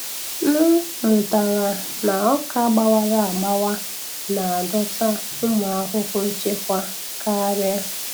M mụtara na ọka gbawara agbawa na-adọta ụmụ ahụhụ nchekwa karịa.